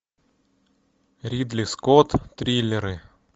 ридли скотт триллеры